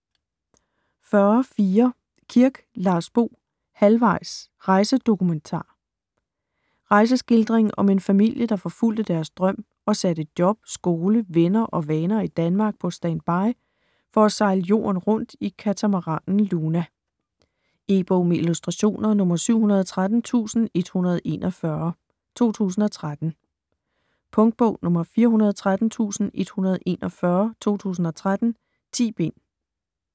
40.4 Kirk, Lars Bo: Halvvejs: rejsedokumentar Rejseskildring om en familie, der forfulgte deres drøm og satte job, skole, venner og vaner i Danmark på stand-by for at sejle jorden rundt i katamaranen Luna. E-bog med illustrationer 713141 2013. Punktbog 413141 2013. 10 bind.